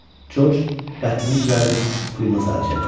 Coç qəddini düzəldib Pümə sarı çevrildi.